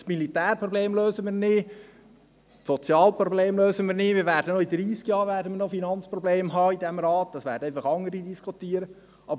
Das Militärproblem lösen wir nicht, und das soziale Problem lösen wir ebenfalls nicht, und wir werden in diesem Rat auch in dreissig Jahren noch Finanzprobleme haben, auch wenn dann andere darüber diskutieren werden.